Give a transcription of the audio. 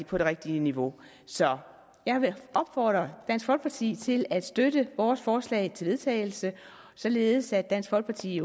på det rigtige niveau så jeg vil opfordre dansk folkeparti til at støtte vores forslag til vedtagelse således at dansk folkeparti